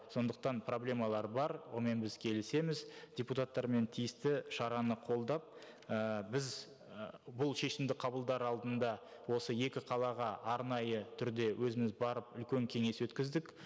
сондықтан проблемалар бар онымен біз келісеміз депутаттармен тиісті шараны қолдап і біз ы бұл шешімді қабылдар алдында осы екі қалаға арнайы түрде өзіміз барып үлкен кеңес өткіздік